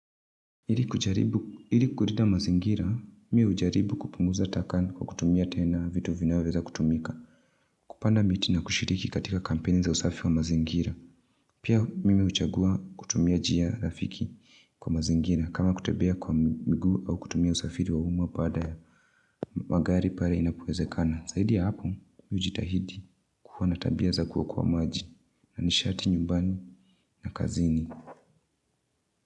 Ili kuleta mazingira, mimi hujaribu kupunguza hataka nikwa kutumia tena vitu vinaweza kutumika. Kupanda miti na kushiriki katika kampeni za usafi wa mazingira. Pia mimi huchagua kutumia njia rafiki kwa mazingira. Kama kutembea kwa miguu au kutumia usafiri wa umaa pale, magari pale inapowezekana. Zaidi ya hapo, mimi hujitahidi kuwa na tabia za kuokoa maji. Na nishati nyumbani na kazini.